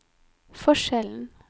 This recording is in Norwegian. forskjellen